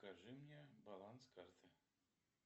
покажи мне баланс карты